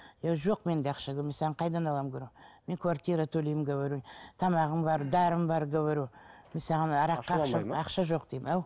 иә жоқ менде ақша мен саған қайдан аламын говорю мен квартира төлеймін говорю тамағым бар дәрім бар говорю мен саған араққа ақша жоқ деймін ау